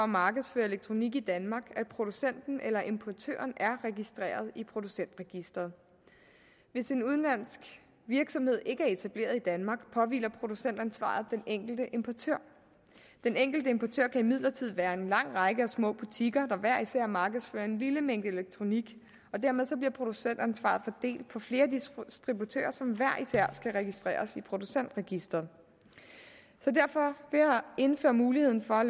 markedsføre elektronik i danmark at producenten eller importøren er registreret i producentregisteret hvis en udenlandsk virksomhed ikke er etableret i danmark påhviler producentansvaret den enkelte importør den enkelte importør kan imidlertid være en lang række små butikker der hver især markedsfører en lille mængde elektronik og dermed bliver producentansvaret fordelt på flere distributører som hver især skal registreres i producentregisteret så derfor ved at indføre muligheden for